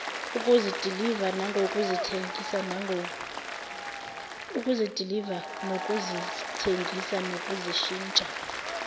ukuzidiliva nokuzithengisa nokuzishintsha